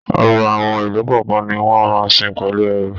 Ọba àwọn ìlú kọọkan ní wọn máa n sìn pẹlú ẹrú.